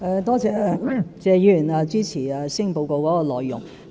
多謝謝議員支持施政報告的內容。